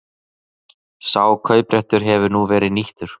Sá kaupréttur hefur nú verið nýttur